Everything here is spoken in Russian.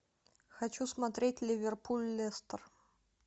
хочу смотреть ливерпуль лестер